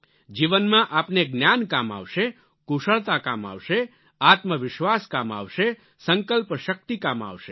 જીવનમાં આપને જ્ઞાન કામ આવશે કુશળતા કામ આવશે આત્મવિશ્વાસ કામ આવશે સંકલ્પશક્તિ કામ આવશે